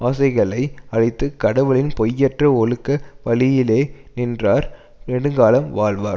ஆசைகளை அழித்து கடவுளின் பொய்யற்ற ஒழுக்க வழியிலே நின்றார் நெடுங்காலம் வாழ்வார்